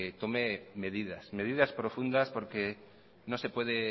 tome medidas medidas profundas porque no se puede